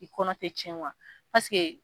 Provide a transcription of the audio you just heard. I kɔnɔ tɛ tiɲɛ wa paseke.